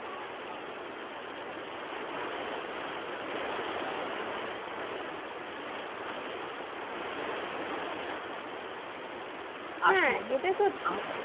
হ্যাঁ, এটা সত্যি,